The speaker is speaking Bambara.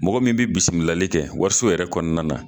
Mɔgɔ min bi bisimilali kɛ wariso yɛrɛ kɔnɔna na